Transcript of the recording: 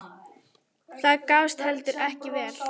Það gafst heldur ekki vel.